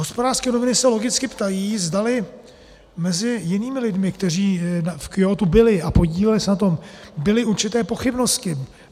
Hospodářské noviny se logicky ptají, zdali mezi jinými lidmi, kteří v Kjótu byli a podíleli se na tom, byly určité pochybnosti.